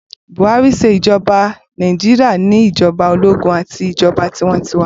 Buhari ṣe ijọba Naijiria ni ijọba ologun ati ijọba tiwantiwa